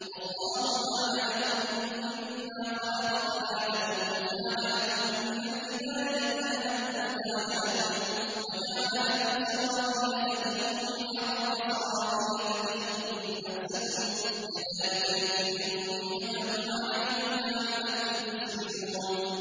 وَاللَّهُ جَعَلَ لَكُم مِّمَّا خَلَقَ ظِلَالًا وَجَعَلَ لَكُم مِّنَ الْجِبَالِ أَكْنَانًا وَجَعَلَ لَكُمْ سَرَابِيلَ تَقِيكُمُ الْحَرَّ وَسَرَابِيلَ تَقِيكُم بَأْسَكُمْ ۚ كَذَٰلِكَ يُتِمُّ نِعْمَتَهُ عَلَيْكُمْ لَعَلَّكُمْ تُسْلِمُونَ